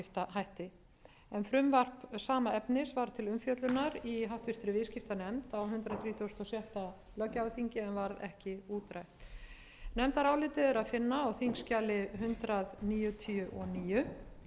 viðskiptahætti frumvarp sama efnis var til umfjöllunar í háttvirtri viðskiptanefnd á hundrað þrítugasta og sjötta löggjafarþingi en varð ekki útrætt nefndarálitið er að finna á þingskjali hundrað níutíu og níu